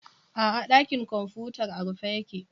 A'a, ɗakin kwamfutar a rufe yake.